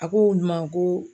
A k'olu ma ko